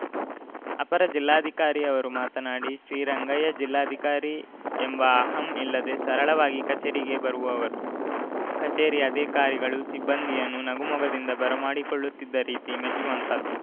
ಅಪರ ಜಿಲ್ಲಾಧಿಕಾರಿ ಅವರು ಮಾತನಾಡಿ ಶ್ರೀರಂಗಯ್ಯ ಜಿಲ್ಲಾಧಿಕಾರಿ ಎಂಬ ಅಹಂ ಇಲ್ಲದೆ ಸರಳವಾಗಿ ಕಚೇರಿಗೆ ಬರುವವರು ಕಚೇರಿ ಅಧಿಕಾರಿಗಳು ಸಿಬ್ಬಂದಿಯನ್ನು ನಗು ಮೊಗದಿಂದ ಬರಮಾಡಿಕೊಳ್ಳುತ್ತಿದ್ದ ರೀತಿ ಮೆಚ್ಚುವಂತಹದ್ದು